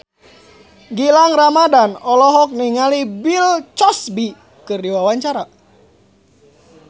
Gilang Ramadan olohok ningali Bill Cosby keur diwawancara